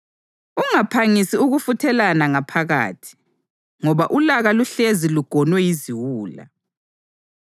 Ungaphangisi ukufuthelana ngaphakathi, ngoba ulaka luhlezi lugonwe yiziwula.